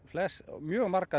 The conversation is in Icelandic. mjög marga